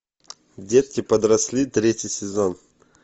детки подросли третий сезон